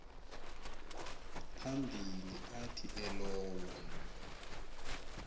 phambili athi elowo